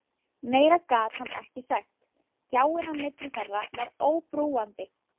Meira gat hann ekki sagt, gjáin á milli þeirra var óbrúandi.